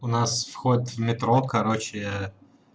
у нас вход в метро короче